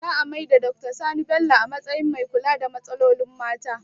Za a maida Doctor Sani Bello a matsayin mai kula da matsalolin mata